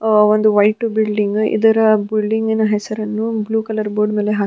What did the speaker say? ಅಹ್ ಒಂದು white building ಇದರ building ನ ಹೆಸರನ್ನು ಬ್ಲೂ ಕಲರ್ ಬೋರ್ಡ್ ನಲ್ಲಿ ಹಾಕಿ --